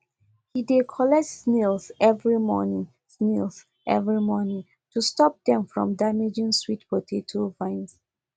he dey collect snails every morning snails every morning to stop them from damaging sweet potato vines